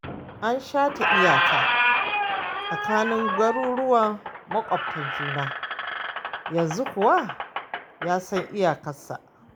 An shata iyaka tsakanin garuruwan maƙwabta juna, yanzu kowa yasan iyakarsa